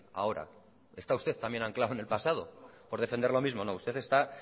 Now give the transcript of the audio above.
ahora está usted también anclado en el pasado por defender lo mismo no usted está